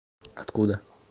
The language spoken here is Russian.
откуда